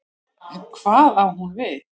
En hvað á hún við?